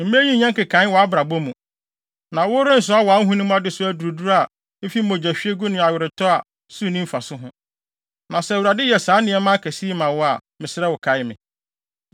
mma eyi nnyɛ nkekae wɔ wʼabrabɔ mu. Na worensoa wʼahonim adesoa duruduru a efi mogyahwiegu ne aweretɔ a so nni mfaso ho. Na sɛ Awurade yɛ saa nneɛma akɛse yi ma wo a, mesrɛ wo, kae me!”